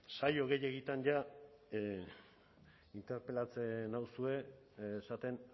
saio gehiegitan jada interpelatzen nauzue esaten